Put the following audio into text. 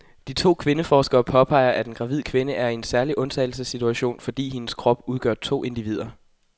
De to kvindeforskere påpeger, at en gravid kvinde er i en særlig undtagelsessituation, fordi hendes krop udgør to individer.